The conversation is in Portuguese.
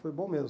Foi bom mesmo.